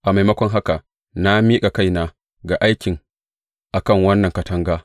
A maimakon haka, na miƙa kaina ga aiki a kan wannan katanga.